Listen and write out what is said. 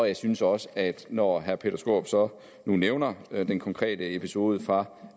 jeg synes også at når herre peter skaarup så nu nævner den konkrete episode fra